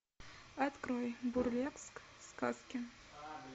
открой бурлеск сказки